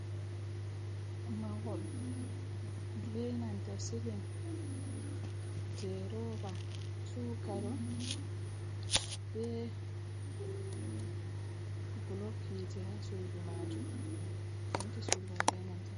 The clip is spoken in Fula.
"Mahol"benanta silim je roba tukalo be bolb hite ha sudu majum penti sudu mai be nanta.